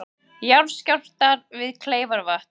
Jarðskjálftar við Kleifarvatn